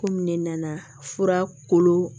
Komi ne nana fura kolo